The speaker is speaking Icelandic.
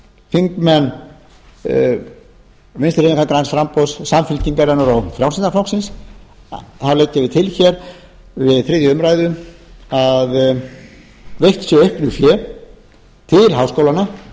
þingmenn vinstri hreyfingarinnar græns framboðs samfylkingarinnar og frjálslynda flokksins leggjum við til hér við þriðju umræðu að veitt sé auknu fé til háskólanna og